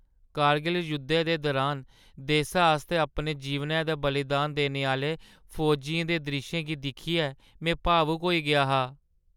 कर्गिल जुद्धै दे दुरान देसै आस्तै अपने जीवनै दा बलिदान देने आह्‌ले फौजियें दे द्रिश्शें गी दिक्खियै में भावुक होई गेआ हा।